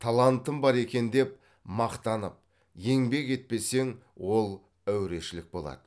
талантым бар екен деп мақтанып еңбек етпесең ол әурешілік болады